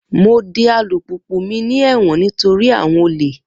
Mo de alupupu mi ni ẹwọn nitori awọn ole